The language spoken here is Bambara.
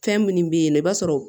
Fɛn minnu bɛ yen nɔ i b'a sɔrɔ